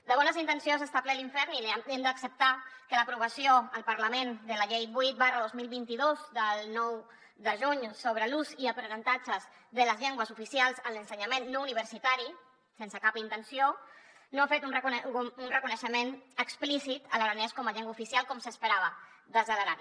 de bones intencions n’està ple l’infern i hem d’acceptar que l’aprovació al parlament de la llei vuit dos mil vint dos del nou de juny sobre l’ús i l’aprenentatge de les llengües oficials en l’ensenyament no universitari sense cap intenció no ha fet un reconeixement explícit a l’aranès com a llengua oficial com s’esperava des de l’aran